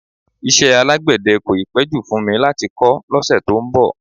Iṣẹ́ alágbẹ̀dẹ́ kò ì pẹ́ jù fún mi láti kọ́ lọ́sẹ̀ tó ń bọ̀